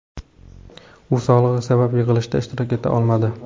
U sog‘lig‘i sabab yig‘ilishda ishtirok eta olmadi.